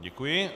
Děkuji.